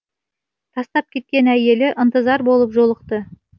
тастап кеткен әйелі ынтызар болып жолықты